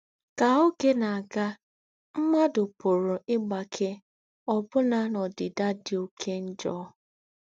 Ká ógé nà-àgà, m̀mùàdù pùrù ígbáké òbù̀nà n’ódìdà dí óké njọ́.